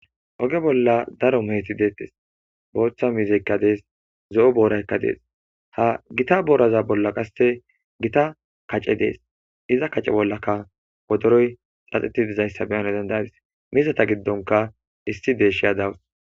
oge bolla daro meeti deettes boochcha mizeykka dees zo7o booraykka dees ha gita booraza bolla qasse gita kace dees iza kace bollaka wodoroy xaxiti dizayssa beyane dendayadis mizata giddonka issi deeshshi adawus